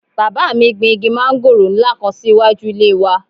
Bàbá mi gbin igi mángòrò nla kan si iwaju ile wà.